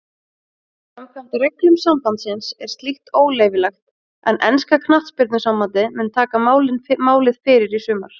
Samkvæmt reglum sambandsins er slíkt óleyfilegt en enska knattspyrnusambandið mun taka máið fyrir í sumar.